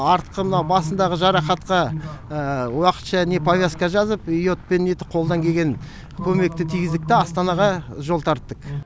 артқы мынау басындағы жарақатқа уақытша повязка жазып йодпен қолдан келген көмекті тигіздік та астанаға жол тарттық